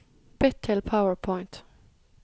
Bytt til PowerPoint